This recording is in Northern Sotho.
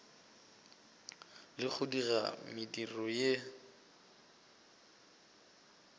le go dira mediro ye